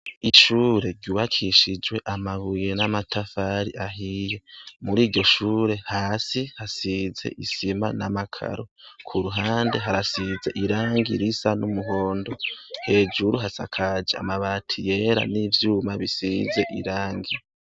Ishure ryubakishijwe amabuye n'amatafari ahiye muri iryo shure hasi hasize isima n'amakaro, ku ruhande harasize irangi risa n'umuhondo, hejuru hasakaje amabati yera n'ivyuma bisize irangi.